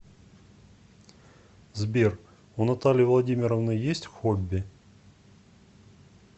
сбер у натальи владимировны есть хобби